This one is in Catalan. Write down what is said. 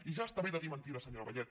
i ja està bé de dir mentides senyora vallet